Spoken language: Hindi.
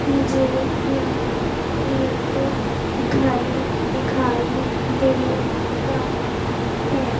मुझे यहां एक घर दिखाई दे रहा है।